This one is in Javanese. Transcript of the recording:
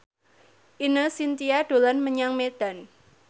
Ine Shintya dolan menyang Medan